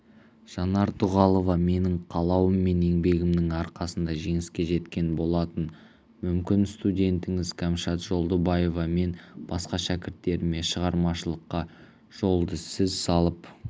жанар дұғалова менің қалауым мен еңбегімнің арқасында жеңіске жеткен болатын мүмкін студентіңіз кәмшат жолдыбаева мен басқа шәкірттеріме шығармашылыққа жолды сіз салып